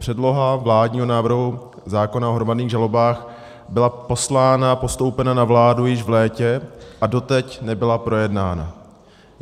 Předloha vládního návrhu zákona o hromadných žalobách byla poslána a postoupena na vládu již v létě a doteď nebyla projednána.